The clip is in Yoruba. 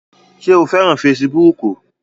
Ṣé o fẹ́ràn fesibúùkù?